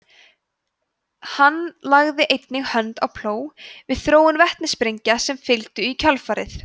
hann lagði einnig hönd á plóg við þróun vetnissprengja sem fylgdu í kjölfarið